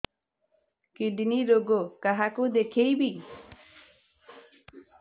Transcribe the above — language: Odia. କିଡ଼ନୀ ରୋଗ କାହାକୁ ଦେଖେଇବି